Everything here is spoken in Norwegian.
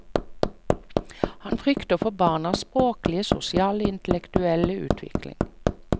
Han frykter for barnas språklige, sosiale og intellektuelle utvikling.